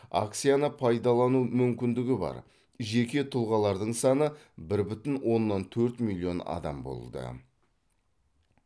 акцияны пайдалану мүмкіндігі бар жеке тұлғалардың саны бір бүтін оннан төрт миллион адам болды